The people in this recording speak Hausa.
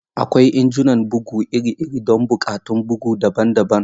Akwai injunan bugu iri-iri don buƙatun bugu daban-daban.